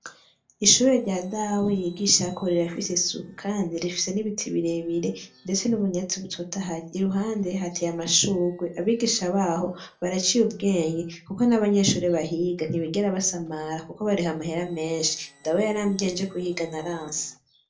Ishure rya dawe y’igishako rirafise isuku kandi rifise n’ibiti birebire ndetse n’ubunyatsi butotahaye, iruhande hateye amashurwe. Abigisha baho baraciye ubwenge kuko n’abanyeshure bahiga ntibigera basamara kuko bariha amahera menshi. Dawe yarambwiye nje kuhiga naranse.